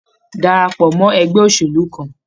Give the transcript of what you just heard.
Darapọ̀ mọ ẹgbẹ́ òṣèlú kàn!